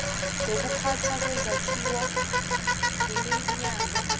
zokuphathwa kwezakhiwo yiminyango